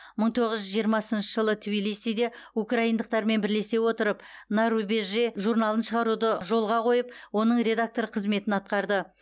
мың тоғыз жүз жиырмасыншы жылы тбилисиде украиндықтармен бірлесе отырып на рубеже журналын шығаруды жолға қойып оның редакторы қызметін атқарды